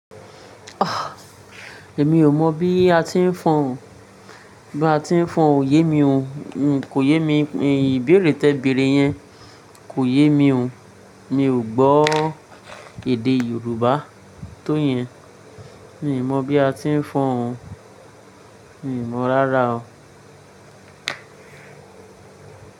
Ah! Èmi ò mọ̀ bí a ti ń fọn, bí a ti ń fọn òye mi o, kò yé mi, ìbéèrè tẹ bẹ̀rẹ̀ yẹn kò yé mi o. Mi ò gbọ́ èdè Yorùbá tó yẹn. Mi ò mọ̀ bí a ti ń fọn. Mi ò mọ̀ rárá o.